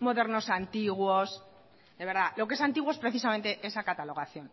modernos antiguos de verdad lo que es antiguo es precisamente esa catalogación